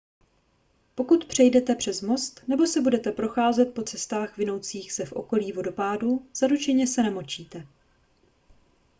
pokud přejdete přes most nebo se budete procházet po cestách vinoucích se v okolí vodopádů zaručeně se namočíte